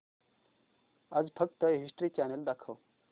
आज फक्त History Channel दाखव